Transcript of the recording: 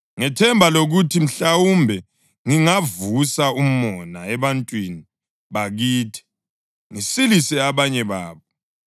ngethemba lokuthi mhlawumbe ngingavusa umona ebantwini bakithi ngisilise abanye babo.